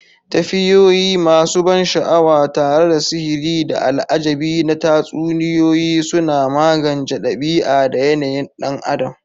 Tafiyoyi masu ban sha'awa tare da sihiri da al'ajabi na Tatsuniyoyi suna magance ɗabi'a da yanayin ɗan adam.